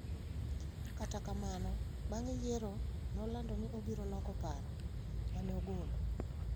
Kata kamano, bang’ yiero, nolando ni obiro loko paro ma ne ogolo.